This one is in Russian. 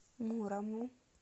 мурому